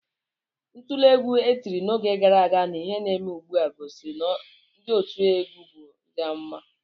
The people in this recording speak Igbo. Ntule egwu e tiri n'oge gara aga na ihe na-eme ugbu a, gosiri na ndị otiegwu bụ ndị amụma